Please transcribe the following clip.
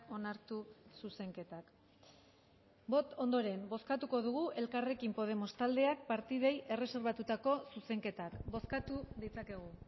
onartu zuzenketak ondoren bozkatuko dugu elkarrekin podemos taldeak partidei erreserbatutako zuzenketak bozkatu ditzakegu